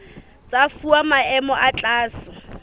tsa fuwa maemo a tlase